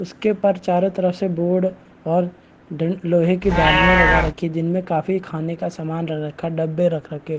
उस के ऊपर चारों तरफ से बोर्ड और डं लोहे की डलियाँ लगा रखी जिनमें काफी खाने का सामान रखा डब्बे रखा के --